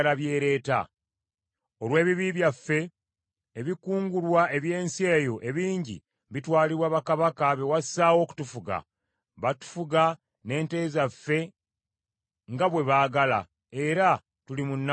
Olw’ebibi byaffe, ebikungulwa eby’ensi eyo ebingi bitwalibwa bakabaka be wassaawo okutufuga. Batufuga n’ente zaffe nga bwe baagala, era tuli mu nnaku nnyingi nnyo.”